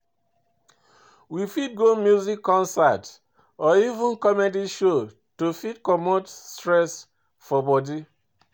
We fit go music concert or even comedy show to fit comot stress for body